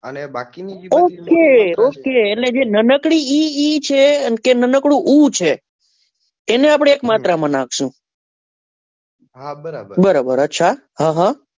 Okay એટલે જે નાનકડી ઈ ઈ છે કે ન્નાકડી ઊ છે એને આપડે એક માત્ર માં નાખશું બરાબર અચ્છા,